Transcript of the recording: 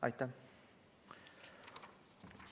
Aitäh!